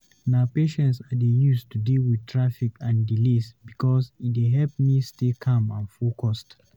Na patience I dey use to deal with traffic and delays because e dey help me stay calm and focused.